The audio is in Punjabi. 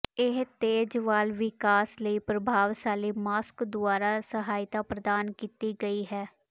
ਇਹ ਤੇਜ਼ ਵਾਲ ਵਿਕਾਸ ਲਈ ਪ੍ਰਭਾਵਸ਼ਾਲੀ ਮਾਸਕ ਦੁਆਰਾ ਸਹਾਇਤਾ ਪ੍ਰਦਾਨ ਕੀਤੀ ਗਈ ਹੈ